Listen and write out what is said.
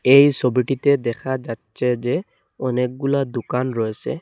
এই ছবিটিতে দেখা যাচ্ছে যে অনেকগুলা দোকান রয়েছে।